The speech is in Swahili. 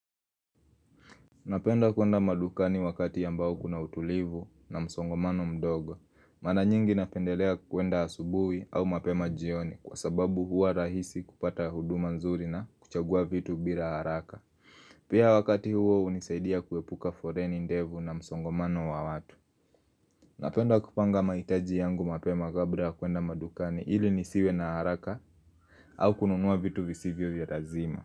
Napenda kuenda madukani wakati ambao kuna utulivu na msongamano mdogo. Mana nyingi napendelea kuenda asubuhi au mapema jioni kwa sababu huwa rahisi kupata huduma nzuri na kuchagua vitu bila haraka. Pia wakati huo hunisaidia kuepuka foleni ndefu na msongamano wa watu. Napenda kupanga mahitaji yangu mapema kabla ya kuenda madukani ili nisiwe na haraka au kununua vitu visivyo vya lazima.